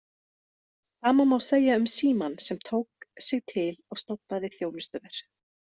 Sama má segja um Símann sem tók sig til og stofnaði „Þjónustuver“.